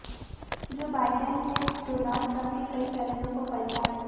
जो बाइडेन ने Donald Trump के कई फैसलों को पलटा है